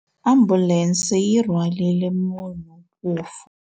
Ambulense yi rhwarile munhu wo fa.